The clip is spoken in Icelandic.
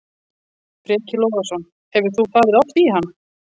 Breki Logason: Hefur þú farið oft í hann?